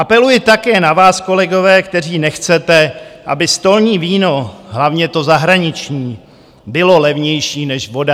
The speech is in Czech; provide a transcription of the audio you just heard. Apeluji také na vás, kolegové, kteří nechcete, aby stolní víno, hlavně to zahraniční, bylo levnější než voda.